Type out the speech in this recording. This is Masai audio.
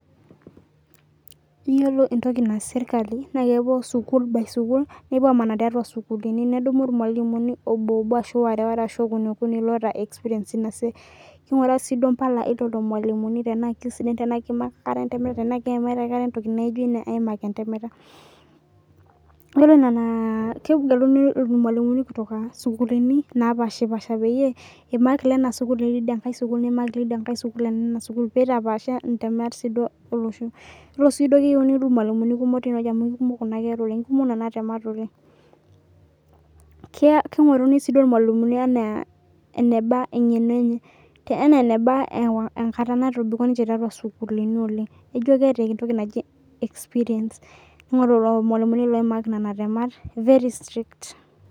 Iyiolo entoki naa keyas sirkali naa kepuo sukul by sukul nepuo aamana tiatua isukuulini nedumu irmalimuni obo obo arashu ware ware arashu okuni okuni loota experience ina siai keing'uraa sii impala oo lolo malimuni tenaa kesidan tenaa keimaitie akata entoki naijo ina naaimaki entemata iyiolo nena kegeluni irmualimuni kutoka sukuulini naapashi pasha peyiee eimak ilena sukul leidia sukul neimak ilidia nkae sukul ilena sukul peitapaasha intemat sii duo olosho iyiolo sii duo naa keyieuni ilmalimuuni kumok teineweji amu keikumok nena kera oleng' nena temat oleng' keing'oruni sii duo irmalimuni enaa eneba eng'eno enye enaa eneba ekata natobiko ninche tiatua isukuulini oleng' neijo keeta entoki naji experience neing'oru lelo malimuni loimaak nena temat very strict.